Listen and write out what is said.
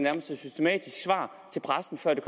er systematisk svar til pressen før det